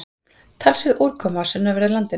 Talsverð úrkoma á sunnanverðu landinu